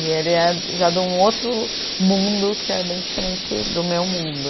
E ele é já de um outro mundo que é bem diferente do meu mundo.